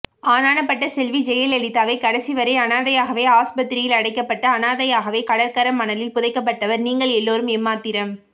ஆனானப்பட்ட செல்வி ஜெயலலிதாவே கடைசிவரை அனாதையாகவே ஆஸ்பத்திரியில் அடைக்கப்பட்டு அனாதையாகவே கடற்கரமணலில் புதைக்கபட்டவர் நீங்கள் எல்லோரும் எம்மாத்திரம்